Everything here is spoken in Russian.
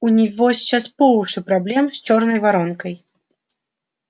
у него сейчас по уши проблем с чёрной воронкой